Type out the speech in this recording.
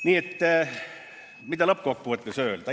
Nii et mida lõppkokkuvõttes öelda?